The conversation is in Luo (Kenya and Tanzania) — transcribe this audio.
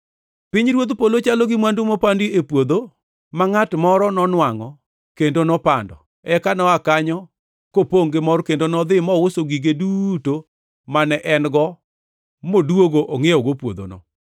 “Pinyruodh polo chalo gi mwandu mopandi e puodho, ma ngʼat moro nonwangʼo kendo nopando, eka noa kanyo kopongʼ gi mor kendo nodhi mouso gige duto mane en-go modwogo ongʼiewogo puodhono.